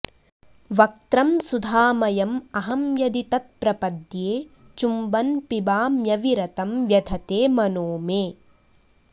वक्त्रं सुधामयम् अहं यदि तत् प्रपद्ये चुम्बन् पिबाम्य् अविरतं व्यधते मनो मे